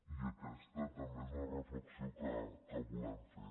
i aquesta també és la reflexió que volem fer